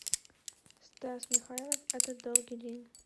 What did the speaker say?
стас михайлов этот долгий день